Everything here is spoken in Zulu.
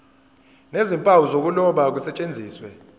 nezimpawu zokuloba kusetshenziswe